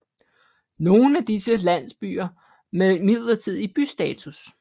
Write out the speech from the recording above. Nogen af disse er landsbyer med midlertidig bystatus